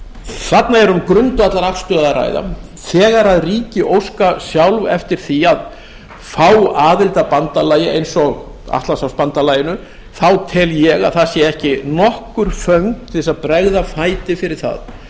þarna er um grundvallarafstöðu að ræða þegar ríki óska sjálf eftir því að fá aðild að bandalagi eins og atlantshafsbandalaginu þá tel ég að það séu ekki nokkur föng til að bregða fæti fyrir það